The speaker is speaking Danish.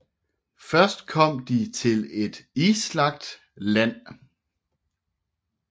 Først kom de til et islagt land